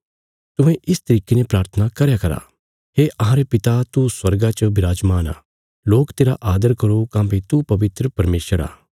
तुहें इस तरिके ने प्राथना करया करा हे अहांरे पिता तू स्वर्गा च बिराजमान आ लोक तेरा आदर करो काँह्भई तू पवित्र परमेशर आ